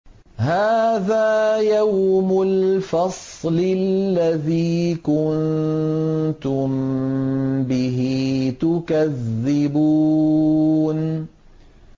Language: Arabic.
هَٰذَا يَوْمُ الْفَصْلِ الَّذِي كُنتُم بِهِ تُكَذِّبُونَ